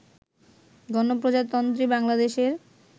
গণপ্রজাতন্ত্রী বাংলাদেশের